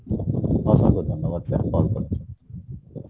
অসংখ্য ধন্যবাদ sir call করার জন্যে।